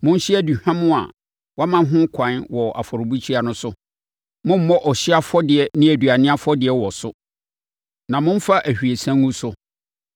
Monhye aduhwam a wɔama ho ɛkwan wɔ afɔrebukyia no so. Mommmɔ ɔhyeɛ afɔdeɛ ne aduane afɔdeɛ wɔ so, na mommfa ahwiesa ngu so.